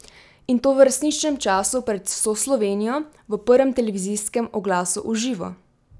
In to v resničnem času pred vso Slovenijo v prvem televizijskem oglasu v živo!